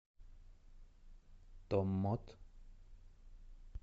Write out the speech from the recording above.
томмот